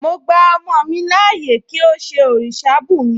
Mo gba ọmọ mi láàyè kí ó ṣe òrìṣà bùnmi